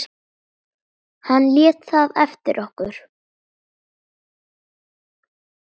Hann lét það eftir okkur.